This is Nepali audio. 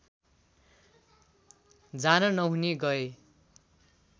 जान नहुने गए